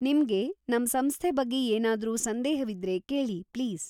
ನಿಮ್ಗೆ ನಮ್‌ ಸಂಸ್ಥೆ ಬಗ್ಗೆ ಏನಾದ್ರೂ ಸಂದೇಹವಿದ್ರೆ ಕೇಳಿ‌, ಪ್ಲೀಸ್.